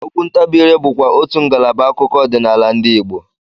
Okwu ntabiire bụkwa otú ngalaba akụkọ ọdịnala ndị Igbo